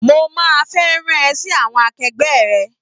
Mo máa fẹ́ rán an ẹ sí àwọn akegbẹ́ rẹ